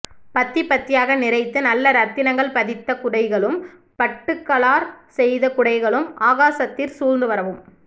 பத்திபத்தியாக நிறைத்து நல்லரத்தினங்கள் பதித்த குடைகளும் பட்டுகளாற்செய்த குடைகளும் ஆகாசத்திற் சூழ்ந்துவரவும்